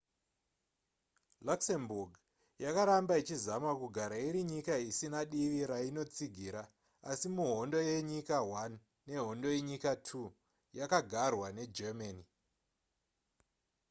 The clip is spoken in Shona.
luxembourg yakaramba ichizama kugara iri nyika isina divi rainotsigira asi muhondo yenyika i nehondo yenyika ii yakagarwa negermany